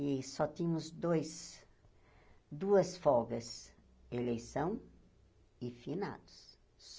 E só tínhamos dois duas folgas, eleição e finados.